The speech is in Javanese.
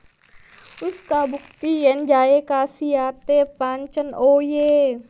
Wis kabukti yen jaé kasiate pancen oye